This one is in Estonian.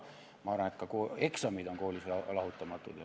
Ma arvan, et ka eksamid on koolist lahutamatud.